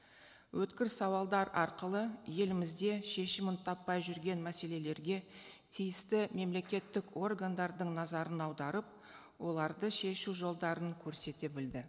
өткір сауалдар арқылы елімізде шешімін таппай жүрген мәселелерге тиісті мемлекеттік органдардың назарын аударып оларды шешу жолдарын көрсете білді